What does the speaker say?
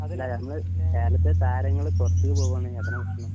ഇല്ല നമ്മള് കേരളത്തിലെ താരങ്ങൾ പുറത്ത്ക്ക് പോവാണെങ്കിൽ അതന്നെ പ്രശ്നം